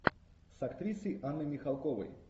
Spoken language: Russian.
с актрисой анной михалковой